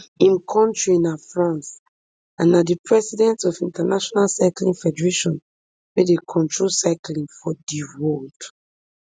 im kontri na france and na di president of international cycling federation wey dey control cycling for di world